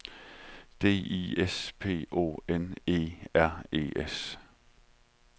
D I S P O N E R E S